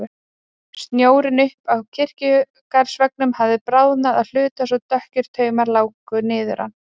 Snjórinn uppi á kirkjugarðsveggnum hafði bráðnað að hluta svo dökkir taumar láku niður hann.